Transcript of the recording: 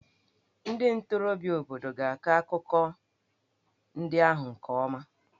Ndị ntorobịa obodo ga-akọ akụkọ ndị ahụ nke ọma.